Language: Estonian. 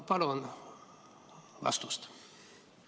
Palun vastust!